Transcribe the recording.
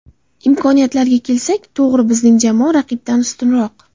Imkoniyatlarga kelsak, to‘g‘ri, bizning jamoa raqibdan ustunroq.